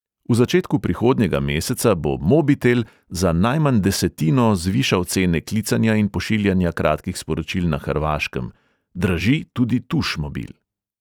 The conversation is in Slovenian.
V začetku prihodnjega meseca bo mobitel za najmanj desetino zvišal cene klicanja in pošiljanja kratkih sporočil na hrvaškem; draži tudi tušmobil.